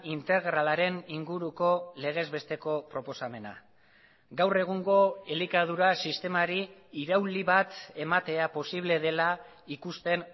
integralaren inguruko legezbesteko proposamena gaur egungo elikadura sistemari irauli bat ematea posible dela ikusten